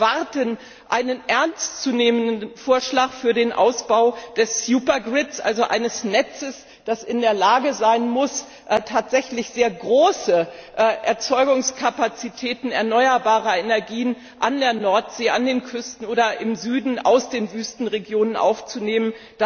Wir erwarten einen ernstzunehmenden Vorschlag für den Ausbau des Supergrids, also eines Netzes, das in der Lage sein muss, tatsächlich sehr große Erzeugungskapazitäten erneuerbarer Energien an der Nordsee, an den Küsten oder im Süden aus den Wüstenregionen aufzunehmen.